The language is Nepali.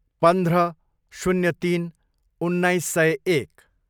पन्ध्र, शून्य तिन, उन्नाइस सय एक